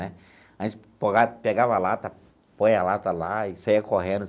Né a gente pegava a lata, põe a lata lá e saía correndo.